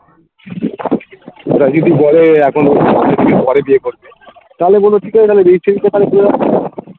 ওরা যদি বলে এখন ও পরে বিয়ে করবে তাহলে বলবো ঠিক আছে তাহলে registry টা তাহলে করে রাখো